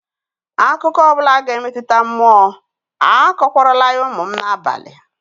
Akụkọ ọ bụla ga-emetụta mmụọ, akọkwarala ya ụmụ m n'abalị